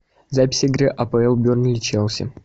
запись игры апл бернли челси